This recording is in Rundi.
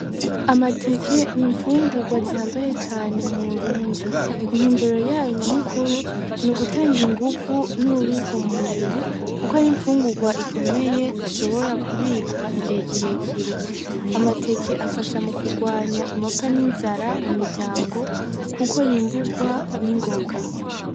Amateke ni impfungurwa zihambaye cane mu rundi intumbero yayo nyamukuru ni ugutanga inguvu n'umubiko mu mubiri, kuko arimpfungurwa ikomeye ishobora kubikwa igihe kirekire amateke afasha mu kurwanya amapfa n'inzara mu miryango, kuko yimbugwa ni goga.